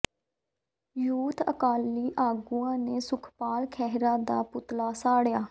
youth Akali ਆਗੂਆਂ ਨੇ ਸੁਖਪਾਲ ਖਹਿਰਾ ਦਾ ਪੁਤਲਾ ਸਾੜਿਆ